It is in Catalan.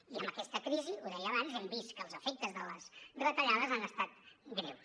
i amb aquesta crisi ho deia abans hem vist que els efectes de les retallades han estat greus